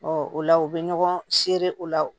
o la u bɛ ɲɔgɔn seere o la